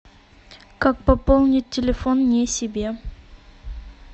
как пополнить телефон не себе